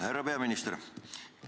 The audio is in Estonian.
Härra peaminister!